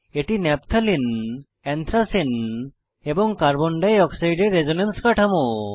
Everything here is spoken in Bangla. এটি ন্যাপথালিন এন্থ্রাসিন এবং কার্বন ডাই অক্সাইডের রেসোনেন্স কাঠামো